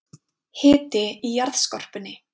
Hiti í jarðskorpunni